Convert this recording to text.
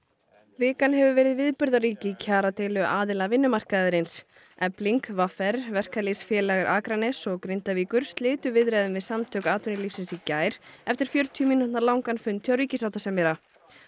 vikan hefur verið viðburðarík í kjaradeilu aðila vinnumarkaðarins efling v r Verkalýðsfélag Akraness og Grindavíkur slitu viðræðum við Samtök atvinnulífsins í gær eftir fjörutíu mínútna langan fund hjá ríkissáttasemjara